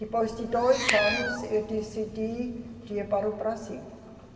Depois de dois anos eu decidi de ir para o Brasil.